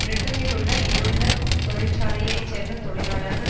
பிரிட்டனிலுள்ள இலுள்ள தொழிற்சாலையை சேர்ந்த தொழிலாளர்கள்